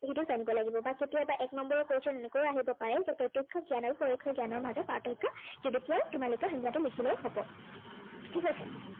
সেইটো জানিব লাগিব। বা কেতিয়াবা এক number ৰ question এনেকৈও আহিব পাৰে যে প্ৰত্য়ক্ষ জ্ঞান আৰু পৰোক্ষ জ্ঞানৰ মাজত প্ৰাৰ্থক্য় কি, সেইবিষয়ে তোমালোকে সংজ্ঞাটো লিখিলেই হব। ঠিক আছে।